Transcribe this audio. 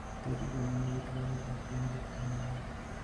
Thoth joma nigi tuwono ok gin jo anyuolagi.